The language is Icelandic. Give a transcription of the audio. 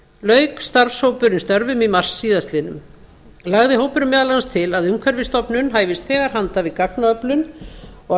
lauk starfshópurinn störfum í mars síðastliðnum lagði hópurinn meðal annars til að umhverfisstofnun hæfist þegar handa við gagnaöflun og að